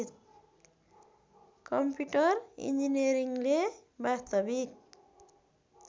computer इन्जिनियरिङ्गले वास्तविक